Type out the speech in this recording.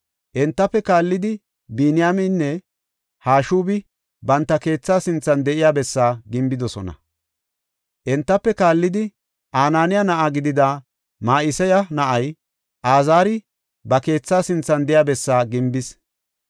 Entafe kaallidi Biniyaameynne Hashubi banta keethaa sinthan de7iya bessaa gimbidosona. Entafe kaallidi Ananiya na7a gidida Ma7iseya na7ay Azaari ba keethaa sinthan de7iya bessaa gimbis.